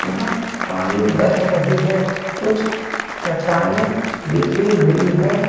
यहां पानी बह रही है कुछ चट्टाने बिखरी हुई है।